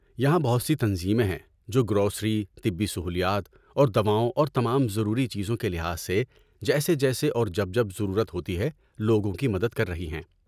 یہاں بہت سی تنظیمیں ہیں جو گروسری، طبی سہولیات اور دواؤں اور تمام ضروری چیزوں کے لحاظ سے جیسے جیسے اور جب جب ضرورت ہوتی ہے لوگوں کی مدد کر رہی ہیں۔